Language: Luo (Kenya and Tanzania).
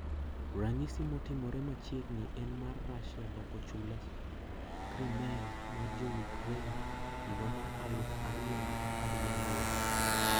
Ranyisi motimre machiegni en mar Russia loko chula Crimea mar jo Ukraine higa mar aluf ariyo gi apar gi ang`wen.